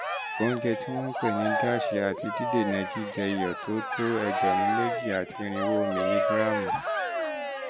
oúnjẹ tí wọ́n ń pè ní dash àti dídènà jíjẹ iyọ̀ tó tó egberun meji ati irinwo miligíráàmù